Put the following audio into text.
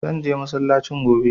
Zan je masallacin gobe.